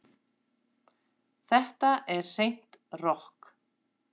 Þetta er hreint rokk